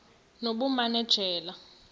nobumanejala